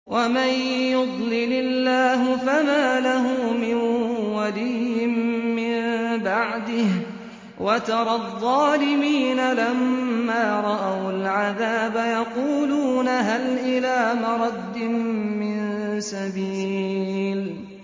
وَمَن يُضْلِلِ اللَّهُ فَمَا لَهُ مِن وَلِيٍّ مِّن بَعْدِهِ ۗ وَتَرَى الظَّالِمِينَ لَمَّا رَأَوُا الْعَذَابَ يَقُولُونَ هَلْ إِلَىٰ مَرَدٍّ مِّن سَبِيلٍ